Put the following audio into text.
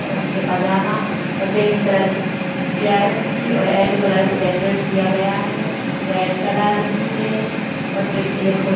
और नीचे पजामा और बैंगनी कलर की चेयर है उनकी और येलो कलर से डेकोरेट किया गया है रेड कलर भी है और पिक क्लिक हो रही।